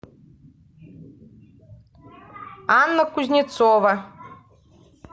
анна кузнецова